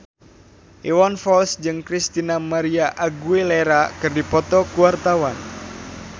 Iwan Fals jeung Christina María Aguilera keur dipoto ku wartawan